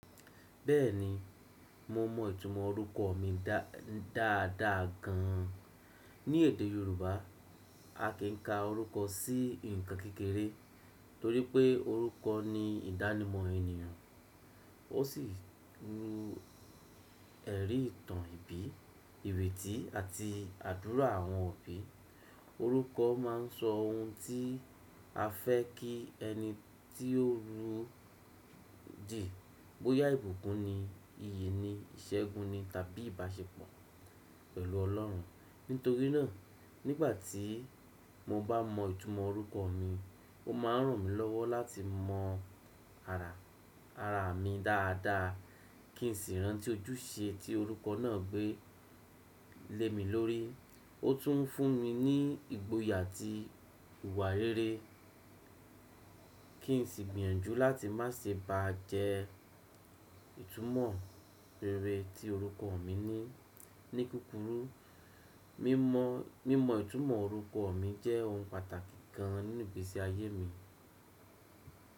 Bẹ́ẹ̀ni, mo mọ ìtumọ̀ orúkọ mi dáadáa gan. Ní èdè Yorùbá, a kì í ka orúkọ sí ǹkan kékeré torí pé orúkọ ni ìdánimọ̀ ènìyàn. Ó sì lu ẹ̀rí ìtàn ìbí, ìrètí àti àdúrà àwọn òbí. Orúkọ máa ń sọ ohun tí a fẹ́ kí ẹni tí ó ru dí. Bóyá ìbùkún ni, iyì ni, ìṣẹ́gun ni tàbí ìbáṣepọ̀ pẹ̀lú Ọlọ́run. Nítorí náà, nígbà tí mo bá mọ ìtumọ̀ orúkọ mi, ó máa ràn mí lọ́wọ́ láti mọ ara, ara mi dáadáa kí n sì rántí ojúṣe tí orúkọ náà gbé lé mi lórí. Ó tún ń fún mi ní ìgboyà àti ìwà rere kí n sì gbìyànjú láti má ṣe ba jẹ ìtumọ̀ rere tí orúkọ mi ní. Ní kúkúrú, mímọ mimo ìtumọ̀ orúkọ mi jẹ́ ohun pàtàkì gan nínú ìgbesi ayé mi.